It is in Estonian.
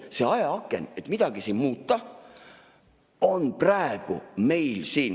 See ajaaken, et midagi muuta, on praegu meil siin ...